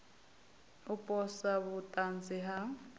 u posa vhut anzi ha